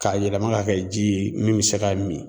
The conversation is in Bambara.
K'a yɛlɛma ka kɛ ji ye min be se ka min